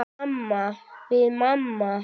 Við mamma.